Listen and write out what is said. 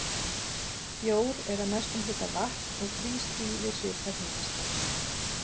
Bjór er að mestum hluta vatn og frýs því við svipað hitastig.